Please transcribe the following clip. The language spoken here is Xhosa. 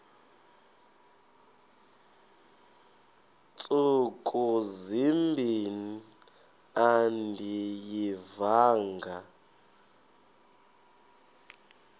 ntsuku zimbin andiyivanga